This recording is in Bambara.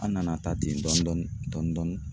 An nana taa ten dɔɔn dɔɔni dɔɔn dɔɔni.